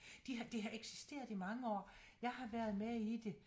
De det har eksisteret i mange år jeg har været med i det